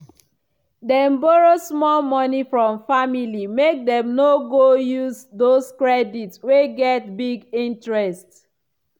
dem borrow small money from family make dem no go use those credit wey get big interest.